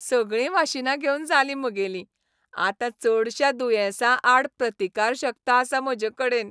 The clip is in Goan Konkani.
सगळीं वाशिनां घेवन जालीं म्हगेलीं. आतां चडश्या दुयेंसांआड प्रतिकारशक्त आसा म्हजेकडेन.